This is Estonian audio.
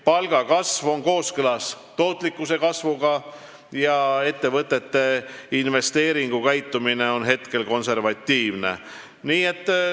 Palgakasv on kooskõlas tootlikkuse kasvuga ja ettevõtete investeeringukäitumine on hetkel konservatiivne.